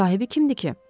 Sahibi kimdir ki?